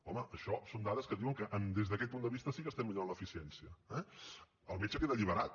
home això són dades que diuen que des d’aquest punt de vista sí que estem millorant l’eficiència eh el metge queda alliberat